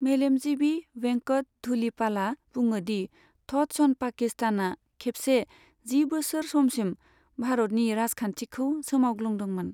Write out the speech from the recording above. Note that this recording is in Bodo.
मेलेमजिबि वेंकट धुलिपालाआ बुङोदि 'थट्स अन पाकिस्तान' आ खेबसे जि बोसोर समसिम भारतनि राजखान्थिखौ सोमावग्लुंदोंमोन।